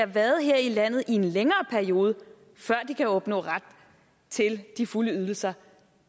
været her i landet i en længere periode før de kan opnå ret til de fulde ydelser